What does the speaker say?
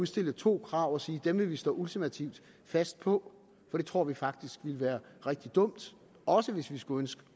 stille to krav og sige at dem vil vi stå ultimativt fast på for det tror vi faktisk ville være rigtig dumt også hvis vi skulle ønske